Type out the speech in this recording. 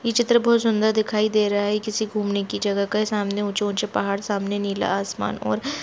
यह चित्र बहुत सुन्दर दिखाई दे रहा है यह किसी घुमने की जगह का है सामने ऊँचे ऊँचे पहाड़ सामने नीला आसमान और--